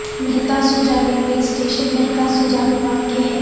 Mehta Soja railway station Mehta Soja میں واقع ہے